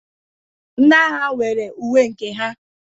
Ndị agha nwere uwe nke ha.